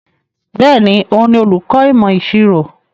Bẹ́ẹ̀ni, òun ni olùkọ ìmọ̀ ìṣirò.